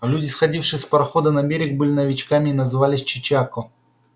а люди сходившие с парохода на берег были новичками и назывались чечако